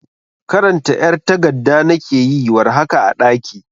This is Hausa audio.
karanta ƴar tagadda nake yi war haka a daƙi